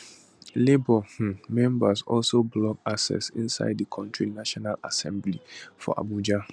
labour um members also block access inside di kontri national assembly for abuja